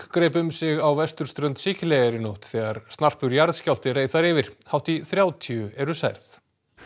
greip um sig á vesturströnd Sikileyjar í nótt þegar snarpur jarðskjálfti reið þar yfir hátt í þrjátíu eru særð